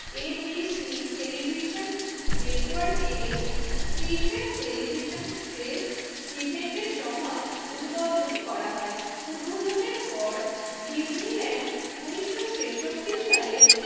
ABC television network এ একটি বিশেষ টেলিভিশন প্রেস ইভেন্টের সময় উদ্বোধন করা হয়। উদ্বোধনের পর ডিজনিল্যান্ড উন্নিশশো ছেষট্টি সালে